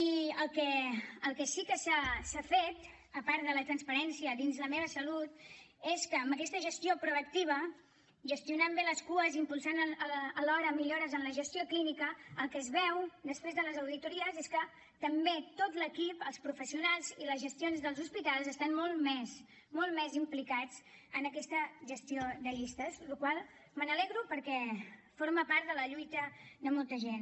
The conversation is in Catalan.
i el que sí que s’ha fet a part de la transparència dins la meva salut és que amb aquesta gestió proactiva gestionant bé les cues i impulsant alhora millores en la gestió clínica el que es veu després de les auditories és que també tot l’equip els professionals i les gestions dels hospitals estan molt més implicats en aquesta gestió de llistes de la qual cosa me n’alegro perquè forma part de la lluita de molta gent